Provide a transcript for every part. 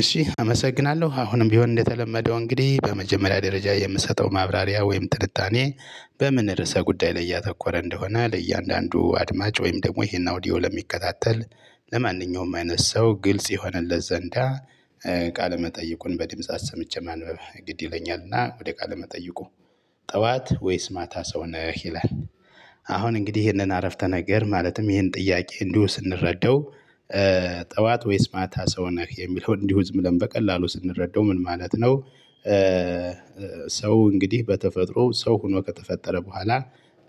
እሺ አመሰግናለሁ አሁንም ቢሆን እንደተለመደው እንግዲህ በመጀመሪያ ደረጃ የምሰጠው ማብራሪያ ወይም ትንታኔ በምን ርዕሰ ጉዳይ ላይ እያተኮረ እንደሆነ ለእያንዳንዱ አድማጭ ወይም ደግሞ ይሄን አውዲዮ ለሚከታተል ለማንኛውም አይነት ሰው ግልጽ ይሆነለት ዘንዳ። ቃለመጠይቁን በድምጽ አሰምቼ ማንበብ ግድ ይለኛልና ወደ ቃለ መጠይቁ ጠዋት ወይስ ማታ ሰው ነህ ይላል? አሁን እንግዲህ ይሄንን አረፍተ ነገር ማለትም ይህን ጥያቄ እንዲሁ ስንረዳው ጠዋት ወይስ ማታ ሰው ነህ የሚለው እንዲሁ ህዝብ ለም በቀላሉ ስንረዳው ምን ማለት ነው? ሰው እንግዲህ በተፈጥሮ ሰው ሆኖ ከተፈጠረ በኋላ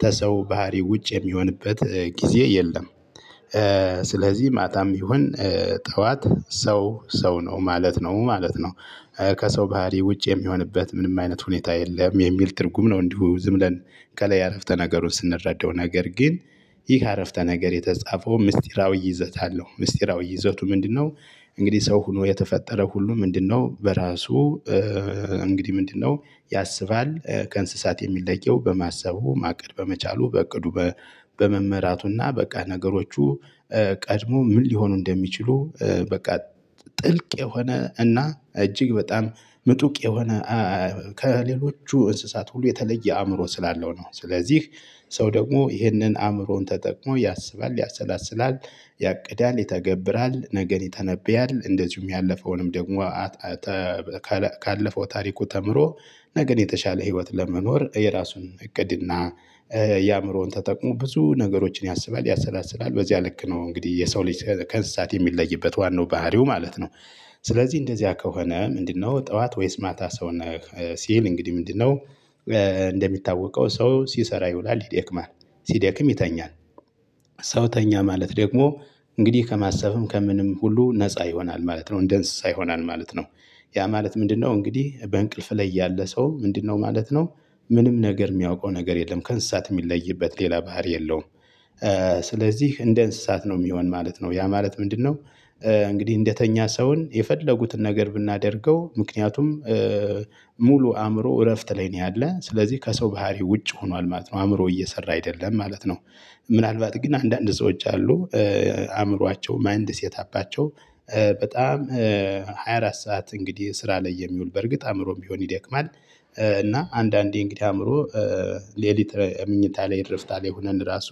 ተሰው ባህሪ ውጭ የሚሆንበት ጊዜ የለም። ስለዚህ ማታም ይሁን ጠዋት ሰው ሰው ነው ማለት ነው ማለት ነው። ከሰው ባህሪ ውጭ የሚሆንበት ምንም አይነት ሁኔታ የለም የሚል ትርጉም ነው። እንዲሁ ዝም ብለን ከላይ አረፍተ ነገሩን ስንረዳው ነገር ግን። ይህ አረፍተ ነገር የተጻፈው ምስጢራዊ ይዘት አለው ምስጢራዊ ይዘቱ ምንድነው? እንግዲህ ሰው ሆኖ የተፈጠረ ሁሉ ምንድነው በራሱ? እንግዲህ ምንድነው? ያስባል ከእንስሳት የሚለየው በማሰቡ ማቀድ በመቻሉ በእቅዱ በመመራቱና በቃ ነገሮቹ። ቀድሞ ምን ሊሆኑ እንደሚችሉ በቃ ጥልቅ የሆነ እና እጅግ በጣም ምጡቅ የሆነ ከሌሎቹ እንስሳት ሁሉ የተለየ አእምሮ ስላለው ነው። ስለዚህ ሰው ደግሞ ይህንን አእምሮን ተጠቅሞ ያሰባል ያሰላስላል ያቅዳል ይተገብራል ነገን ይተነብያል እንደዚሁም ያለፈውንም ደግሞ። ካለፈው ታሪኩ ተምሮ ነገን የተሻለ ህይወት ለመኖር የራሱን እቅድ እና። የአእምሮውን ተጠቁ ብዙ ነገሮችን ያስባል ያሰላስላል በዚያ ልክ ነው እንግዲህ የሰው ልጅ ከእንስሳት የሚለይበት ዋናው ባህሪው ማለት ነው። ስለዚህ እንደዚያ ከሆነ ምንድነው ጠዋት ወይስ ማታ ሰው ነህ ሲል እንግዲህ ምንድነው? እንደሚታወቀው ሰው ሲሰራ ይውላል ይደክማል ሲደክም ይተኛል። ሰው ተኛ ማለት ደግሞ እንግዲህ ከማሰብም ከምንም ሁሉ ነፃ ይሆናል ማለት ነው እንደ እንስሳ ይሆናል ማለት ነው። ያ ማለት ምንድነው እንግዲህ በእንቅልፍ ላይ ያለ ሰው ምንድነው ማለት ነው? ምንም ነገር የሚያውቀው ነገር የለም ከእንስሳት የሚለይበት ሌላ ባህሪ የለውም። ስለዚህ እንደ እንስሳት ነው የሚሆን ማለት ነው ያ ማለት ምንድነው? እንግዲህ እንደተኛ ሰውን የፈለጉትን ነገር ብናደርገው ምክንያቱም። ሙሉ አእምሮ እረፍት ላይ ነው ያለን ስለዚህ ከሰው ባህሪ ውጭ ሆኗል ማለት ነው አእምሮ እየሰራ አይደለም ማለት ነው። ምናልባት ግን አንዳንድ ሰዎች አሉ። አእምሯቸው ማይንድ ሴትአፓቸው በጣም ሃያ አራት ሰዓት እንግዲህ ስራ ላይ የሚውል በርግጥ አእምሮም ቢሆን ይደክማል። እና አንዳንዴ እንግዲህ አእምሮ። ሌሊት ምኞታ ላይ እረፍታ ላይ ሆነን ራሱ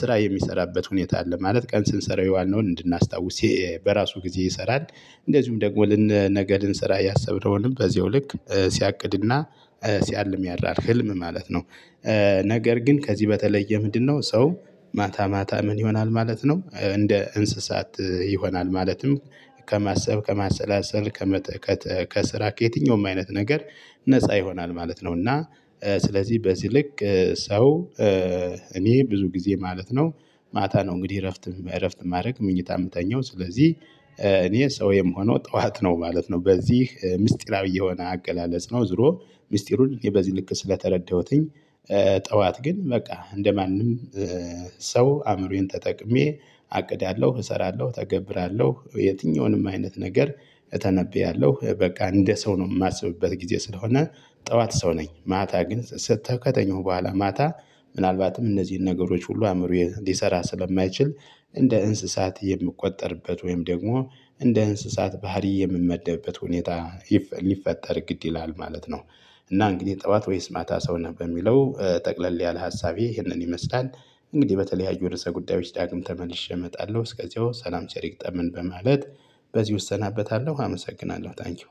ስራ የሚሰራበት ሁኔታ አለ ማለት ቀን ስንሰራ የዋልነውን እንድናስታውስ በራሱ ጊዜ ይሰራል። እንደዚሁም ደግሞ ለን ነገ ልንሰራ ያሰብነውንም በዚሁ ልክ ሲያቅድና ሲያልም ያድራል ህልም ማለት ነው። ነገር ግን ከዚህ በተለየ ምንድነው ሰው? ማታ ማታ ምን ይሆናል ማለት ነው እንደ እንስሳት ይሆናል ማለትም። ከማሰብ ከማሰላሰል ከመጥ ከት ከስራ ከየትኛውም አይነት ነገር። ነፃ ይሆናል ማለት ነው። እና ስለዚህ በዚህ ልክ ሰው። እኔ ብዙ ጊዜ ማለት ነው ማታ ነው እንግዲህ እረፍትም በእረፍትም ማድረግ ምኞታም የምተኛው ስለዚህ። እኔ ሰው የምሆነው ጠዋት ነው ማለት ነው በዚህ ምስጢራዊ የሆነ አቀላለጽ ነው ዝሮ ሚስጢሩን የበዚህ ልክ ስለተረዳሁትኝ። ጠዋት ግን በቃ እንደማንም። ሰው አእምሮዬን ተጠቅሜ አቅዳለሁ እሰራለሁ ተገብራለሁ የትኛውንም አይነት ነገር። እተነብያለሁ በቃ እንደ ሰው ነው የማስብበት ጊዜ ስለሆነ። ጠዋት ሰው ነኝ ማታ ግን ስት ከተኛው በኋላ ማታ። ምናልባትም እነዚህን ነገሮች ሁሉ አእምሮ ሊሰራ ስለማይችል። እንደ እንስሳት የምቆጠርበት ወይም ደግሞ እንደ እንስሳት ባህሪ የምመደብበት ሁኔታ። ሊፈጠር ግድ ይላል ማለት ነው። እና እንግዲህ ጠዋት ወይስ ማታ ሰው ነህ በሚለው ጠቅለል ያለ ሀሳቤ ይህንን ይመስላል። እንግዲህ በተለያዩ ርዕሰ ጉዳዮች ዳግም ተመልሼ እመጣለሁ እስከዚያው ሰላም ቸር ይግጠመን በማለት በዚሁ እሰናበታለሁ አመሰግናለሁ ታንኪው።